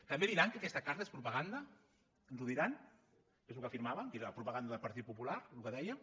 també diran que aquesta carta és propaganda ens ho diran que és el que afirmaven que era propaganda del partit popular el que dèiem